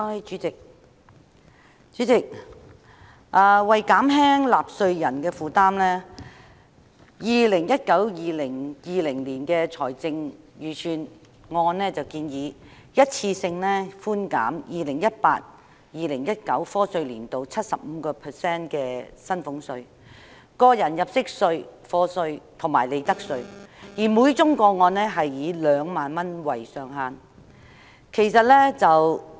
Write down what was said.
主席，為減輕納稅人的負擔 ，2019-2020 年度的財政預算案建議一次性寬減 2018-2019 課稅年度 75% 的薪俸稅、個人入息課稅及利得稅，每宗個案以2萬元為上限。